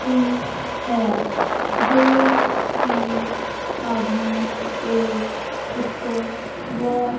हुई है जो कि आदमी एक उसको वाश --